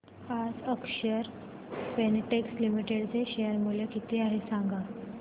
आज Akshar Spintex Limited चे share मूल्य किती आहे सांगा